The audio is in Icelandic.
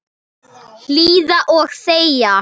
Hlýða og þegja.